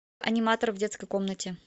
аниматор в детской комнате